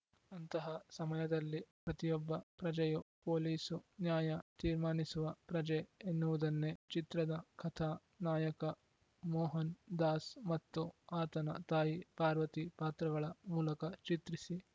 ಅಂತಹ ಸಮಯದಲ್ಲಿ ಪ್ರತಿಯೊಬ್ಬ ಪ್ರಜೆಯೂ ಪೊಲೀಸು ನ್ಯಾಯ ತೀರ್ಮಾನಿಸುವ ಪ್ರಜೆ ಎನ್ನುವುದನ್ನೇ ಚಿತ್ರದ ಕಥಾ ನಾಯಕ ಮೋಹನ್‌ ದಾಸ್‌ ಮತ್ತು ಆತನ ತಾಯಿ ಪಾರ್ವತಿ ಪಾತ್ರಗಳ ಮೂಲಕ ಚಿತ್ರಿಸಿ